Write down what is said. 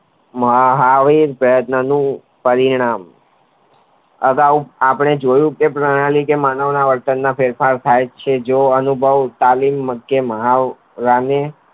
મહાવીર નું પરિણામ અગાઉ આપણે જોયું કે મહની માં ફેર ફાર થાઈ છે જેવો અનુભવ કાલીન માધ્ય માં થાય છે.